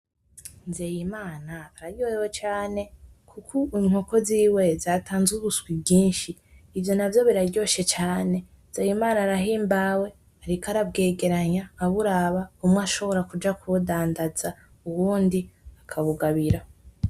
Nzeyimana araryohewe cane kuko I inkoko ziwe zatanze ubuswi bwinshi ,ivyo navyo biraryoshe cane nzeyimana arahimbawe ariko arabwegeranya aburaba bumwe ashobora kuja kubudandaza ubundi akabugabira .